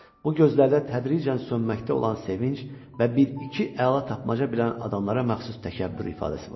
Bu gözlərdə tədricən sönməkdə olan sevinc və bir-iki əla tapmaca bilən adamlara məxsus təkəbbür ifadəsi vardı.